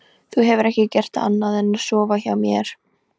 Þú hefur ekki gert annað en að sofa hjá mér.